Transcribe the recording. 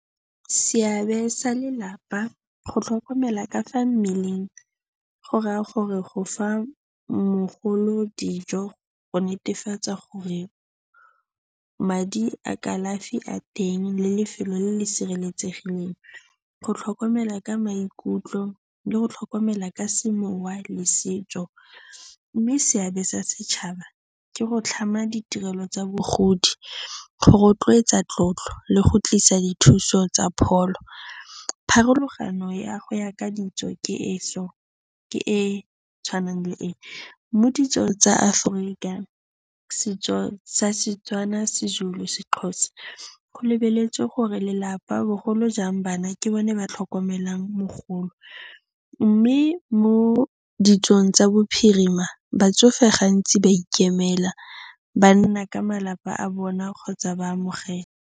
Seabe sa lelapa, go tlhokomela ka fa mmeleng go raya gore go fa mogolo dijo, go netefatsa gore madi a kalafi a teng le lefelo le le sireletsegileng, go tlhokomela ka maikutlo le go tlhokomela ka semowa le setso mme seabe sa setšhaba ke go tlhama ditirelo tsa bogodi, go rotloetsa tlotlo le go tlisa dithuso tsa pholo. Pharologano ya go ya ka ditso ke e so, ke e tshwanang le e, mo ditsong tsa Aforika, setso sa Setswana, seZulu, seXhosa, go lebeletswe gore lelapa bogolo jang bana, ke bona ba tlhokomelang mogolo mme mo ditsong tsa bophirima, batsofe gantsi ba a ikemela, ba nna ka malapa a bona kgotsa ba a amogela.